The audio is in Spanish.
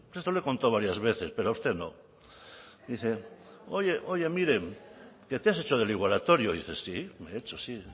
esto lo he contado varias veces pero a usted no dice oye oye miren que te has hecho del igualatorio y dice sí me he hecho sí